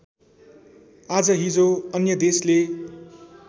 आजहिजो अन्य देशले